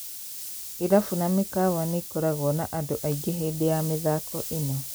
Irabu na mĩkawa nĩkoragwo na andũ aingĩ hĩndĩ ya mĩthako ĩno.